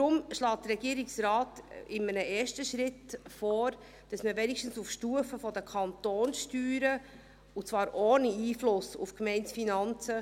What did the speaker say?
Deshalb schlägt der Regierungsrat in einem ersten Schritt vor, dass man dann wenigstens auf Stufe der Kantonssteuern eine minimale Entlastung anstreben sollte, und zwar ohne Einfluss auf die Gemeindefinanzen.